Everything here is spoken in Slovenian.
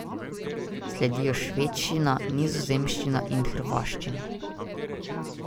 Sledijo švedščina, nizozemščina in hrvaščina.